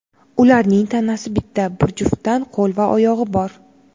Ularning tanasi bitta, bir juftdan qo‘l va oyog‘i bor.